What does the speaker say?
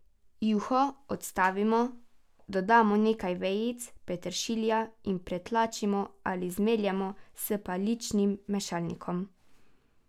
Juho odstavimo, dodamo nekaj vejic peteršilja in pretlačimo ali zmeljemo s paličnim mešalnikom.